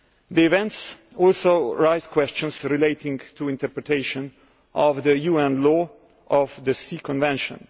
The events also raise questions relating to interpretation of the UN Law of the Sea Convention.